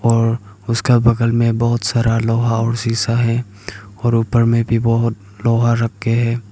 और उसका बगल में बहोत सारा लोहा और सीसा है और ऊपर में भी बहोत लोहा रखे हैं।